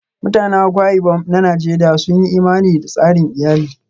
Mutanen Akwa Ibom na Najeriya sun yi imani da tsarin iyali